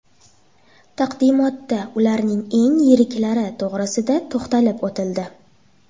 Taqdimotda ularning eng yiriklari to‘g‘risida to‘xtalib o‘tildi.